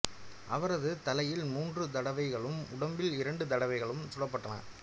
அவரது தலையில் மூன்று தடவைகளும் உடம்பில் இரண்டு தடவைகளும் சுடப்பட்டன